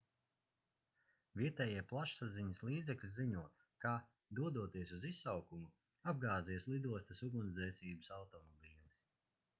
vietējie plašsaziņas līdzekļi ziņo ka dodoties uz izsaukumu apgāzies lidostas ugunsdzēsības automobilis